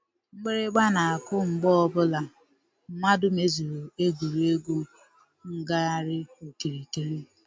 Mgbịrịgba na-akụ mgbe ọbụla mmadụ mezuru egwuregwu ngagharị okirikiri.